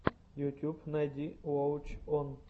ютюб найди уоч он